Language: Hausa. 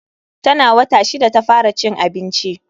Tana wata shida ta fara cin abinci.